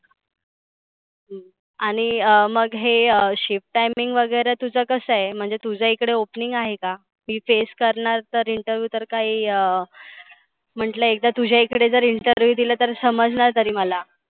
आणि मग हे shift timing वगैरे तुझं कसं आहे? म्हणजे तुझ इकड opening आहे का? मी face करणार तर interview काही अं म्हंटलं एकदा तुझ्याइकडे जर interview दिला तर समजणार तरी मला.